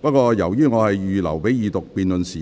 不過，由於我預留給二讀辯論的時